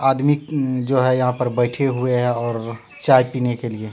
आदमी जो है यहां पे बैठे हुए हैं और चाय पीने के लिए।